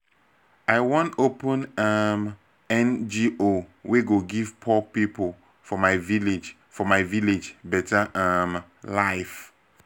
i wan open um ngo wey go give poor pipo for my village for my village better um life.